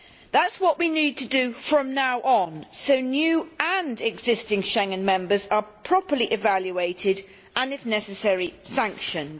That is what we need to do from now on, so new and existing Schengen members are properly evaluated and, if necessary, sanctioned.